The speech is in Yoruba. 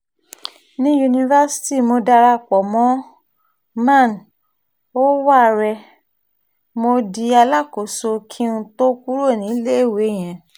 ní yunifásitì mo darapọ̀ mọ́ man ò wárẹ̀ mo di alákòóso kí n tóó kúrò níléèwé yẹn